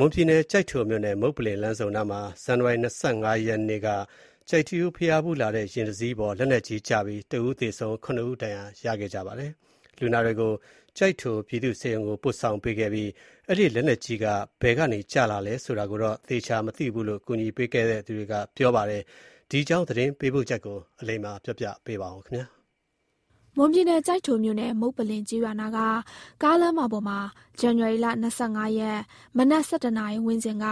မွန်ပြည်နယ်၊ ကျိုက်ထိုမြို့နယ်၊ မုပ္ပလင်လမ်းဆုံနားမှာ ဇန်နဝါရီလ ၂၅ ရက်က ကျိုက်ထီးရိုးဘုရားဖူးလာတဲ့ ယာဉ်တစီးပေါ် လက်နက်ကြီးကျပြီး ၁ ဦးသေဆုံး၊ ၇ ဦး ဒဏ်ရာရခဲ့ပါတယ်။ လူနာတွေကို ကျိုက်ထိုပြည်သူ့ဆေးရုံကို ပို့ဆောင်ပေးခဲ့ပြီး အဲဒီလက်နက်ကြီး ဘယ်ကနေ ကျလာသလဲ ဆိုတာကိုတော့ သေချာမသိဘူးလို့ ကူညီပေးခဲ့သူတွေက ပြောပါတယ်။ ဒီအကြောင်း သတင်းပေးပို့ချက်ကို အလိမ္မာက ဆက်ပြောပြပါမယ်။ မွန်ပြည်နယ်၊ ကျိုက်ထိုမြို့နယ်၊ မုပ္ပလင်ကျေးရွာနားက ကားလမ်းမပေါ်မှာ ဇန်နဝါရီလ ၂၅ ရက်၊ မနက် ၁၁ နာရီဝန်းကျင်က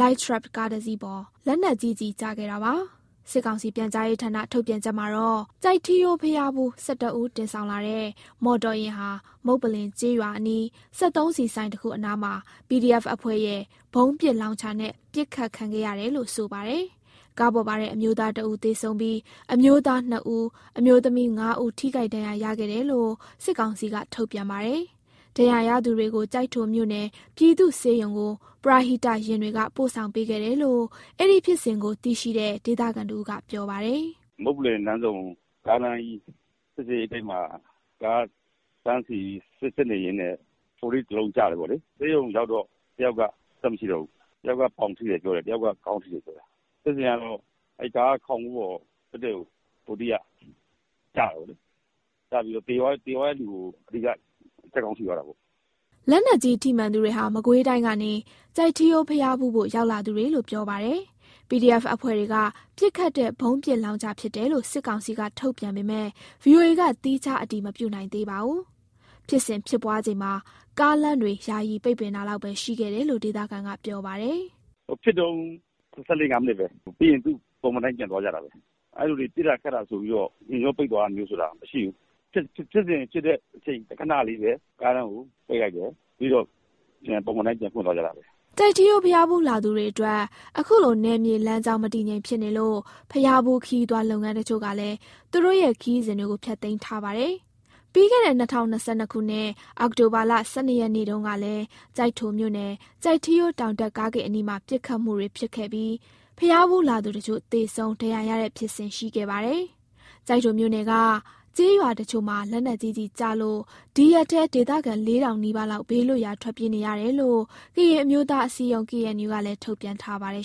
Light truck ကားတစီးပေါ် လက်နက်ကြီးကျည် ကျခဲ့တာပါ။ စစ်ကောင်စီ ပြန်ကြားရေးဌာန ထုတ်ပြန်ချက်မှာတော့ ကျိုက်ထီးရိုးဘုရားဖူး ၁၁ ဦးတင်ဆောင်လာတဲ့ မော်တော်ယာဉ်ဟာ မုပ္ပလင်ကျေးရွာအနီး စက်သုံးဆီဆိုင်တခုအနားမှာ PDF အဖွဲ့ရဲ့ ဗုံးပစ်လောင်ချာနဲ့ ပစ်ခတ်ခံရတာလို့ ဆိုပါတယ်။ ကားပေါ်ပါတဲ့ အမျိုးသား ၁ ဦး သေဆုံးပြီး အမျိုးသား ၂ ဦး အမျိုးသမီး ၅ဦး ထိခိုက်ဒဏ်ရာရခဲ့တယ်လို့ စစ်ကောင်စီက ထုတ်ပြန်ပါတယ်။ ဒဏ်ရာရသူတွေကို ကျိုက်ထိုမြို့နယ် ပြည်သူ့ဆေးရုံကို ပရဟိတယာဉ်တွေက ပို့ဆောင်ပေးခဲ့တယ်လို့ အဲဒီဖြစ်စဉ်ကို သိရှိတဲ့ ဒေသခံတဦးက ပြောပါတယ်။ "မုပ္ပလင်လမ်းဆုံ ကားလမ်းကြီး စစ်ဆေးရေးဂိတ်မှာ ကားတန်းစီ စစ်နေရင်းနဲ့ ၄၀ မမ တလုံးကျတယ်။ ဆေးရုံရောက်တော့ တယောက်က အသက် မရှိတော့ဘူး။ တယောက်က ပေါင်ထိတယ်။ နောက်တယောက်က ခေါင်းထိတယ်။ ဖြစ်စဉ်ကတော့ အဲဒီကား ခေါင်မိုးပေါ် တည့်တည့်ကို ၄၀ က ကျတာ။ ကျပြီးတော့ သေသွားတဲ့သူရဲ့ ခေါင်းကို ထိသွားတာပေါ့။" လက်နက်ကြီး ထိမှန်သူတွေဟာ မကွေးတိုင်းကနေ ကျိုက်ထီးရိုး ဘုရားဖူးဖို့ ရောက်လာသူတွေလို့ ပြောပါတယ်။ PDF အဖွဲ့က ပစ်ခတ်တဲ့ ဗုံးပစ်လောင်ချာဖြစ်တယ်လို့ စစ်ကောင်စီက ထုတ်ပြန်ပေမယ့် ဗွီအိုအေက သီးခြားအတည်မပြုနိုင်သေးပါဘူး။ ဖြစ်စဉ်ဖြစ်ပွားချိန်မှာ ကားလမ်းတွေ ယာယီပိတ်ပင်တာလောက်ပဲ ရှိခဲ့တယ်လို့ ဒေသခံကပြောပါတယ်။ "ဖြစ်တုန်း ၁၄ မိနစ်၊ ၁၅ မိနစ်ပဲ လမ်းပိတ်သွားတာ။ ပြီးတော့ သူ့ပုံမှန်အတိုင်း ပြန်သွားကြတာပဲ။ အဲလိုဖြစ်ပြီး ပစ်တာခတ်တာမျိုး၊ ယာဉ်ကြော ပိတ်သွားတာမျိုး မရှိဘူး။ ဖြစ်စဉ်ဖြစ်တဲ့ အချိန်ခဏလေးပဲ ကားတန်းကို ပိတ်လိုက်တယ်။ ပြီးတော့ ပုံမှန်အတိုင်း ပြန်ပွင့်သွားကြတာပဲ။" ကျိုက်ထီးရိုး ဘုရားဖူးလာသူတွေအတွက် အခုလို နယ်မြေလမ်းကြောင်း မတည်ငြိမ်ဖြစ်နေလို့ ဘုရားဖူးခရီးသွား လုပ်ငန်းတချို့ကလည်း သူတို့ရဲ့ ခရီးစဉ်တွေကို ဖျက်သိမ်းထားပါတယ်။ ပြီးခဲ့တဲ့ ၂၀၂၂ ခုနှစ် အောက်တိုဘာလ ၁၂ ရက်နေ့တုန်းကလည်း ကျိုက်ထိုမြို့နယ်၊ ကျိုက်ထီးရိုးတောင်တက် ကားဂိတ်အနီးမှာ ပစ်ခတ်မှုတွေ ဖြစ်ခဲ့ပြီး ဘုရားဖူးလာသူတချို့ သေဆုံး၊ ဒဏ်ရာရတဲ့ ဖြစ်စဉ် ရှိခဲ့ပါတယ်။ ကျိုက်ထိုမြို့နယ်က ကျေးရွာတချို့မှာ လက်နက်ကြီးကျည်ကျလို့ ဒီရက်ပိုင်းထဲ ဒေသခံ ၄,၀၀၀ နီးပါးလောက်ဟာ ဘေးလွတ်ရာ ထွက်ပြေးနေရတယ်လို့ ကရင်အမျိုးသား အစည်းအရုံး KNU ကလည်း ထုတ်ပြန်ထားပါတယ်